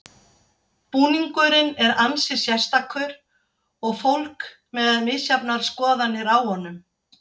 Búningurinn er ansi sérstakur og fólk með misjafnar skoðanir á honum.